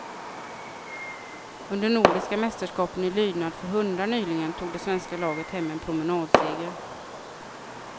Under nordiska mästerskapen i lydnad för hundar nyligen, tog det svenska laget hem en promenadseger.